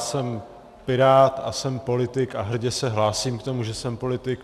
Jsem pirát a jsem politik a hrdě se hlásím k tomu, že jsem politik.